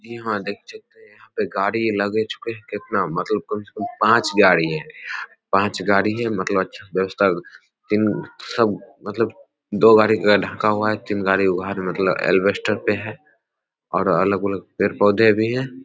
यहाँ देख सकते हैं यहाँ पे गाड़ी लगे चुके हैं कितना मतलब कम से कम पांच गाड़ी है पांच गाड़ी है मतलब अच्छी व्यवस्था इन सब मतलब दो गाड़ी ढका हुआ है तीन गाड़ी उघार ल एलवेस्टर पे है और अलग-अलग पेड़-पौधे भी हैं।